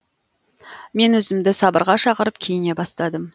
мен өзімді сабырға шақырып киіне бастадым